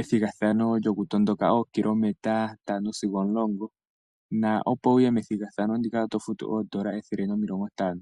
ethigathano lyokutondoka ookilometa ntano sigo omulongo na opo wu ye methigathano ndika oto futu N$150.